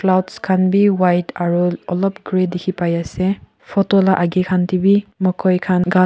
clouds khan bi white aro olop grey dikhipaiase photo la agae khan taebi mokoi khan ghas--